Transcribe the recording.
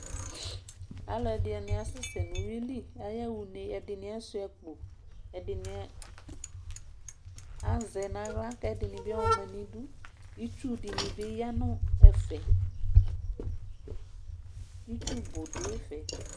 Alʋ ɛdini asɛsɛ nʋ uwili aya xa une ɛdini asuia akpo ɛsini azɛ nʋ aɣla kʋ ɛdini bi ɔma nʋ idʋ itsu dini bi yanʋ ɛfɛ itsu bʋ dʋ ɛfɛ